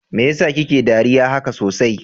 Mai yasa kike dariya haka sosai?